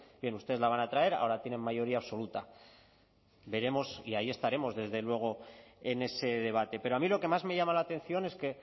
bien ustedes la van a traer ahora tienen mayoría absoluta veremos y ahí estaremos desde luego en ese debate pero a mí lo que más me llama la atención es que